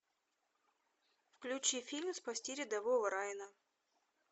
включи фильм спасти рядового райана